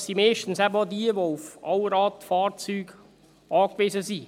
Das sind meist auch jene, die auf Allradfahrzeuge angewiesen sind.